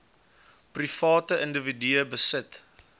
private individue besit